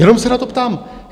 Jenom se na to ptám.